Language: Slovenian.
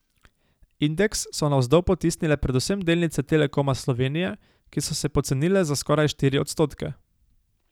Indeks so navzdol potisnile predvsem delnice Telekoma Slovenije, ki so se pocenile za skoraj štiri odstotke.